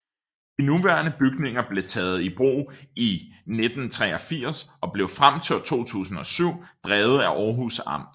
De nuværende bygninger blev taget i brug i 1983 og blev frem til 2007 drevet af Århus Amt